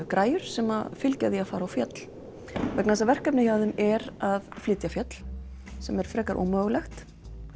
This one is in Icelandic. græjur sem fylgja því að fara á fjöll vegna þess að verkefnið hjá þeim er að flytja fjöll sem er frekar ómögulegt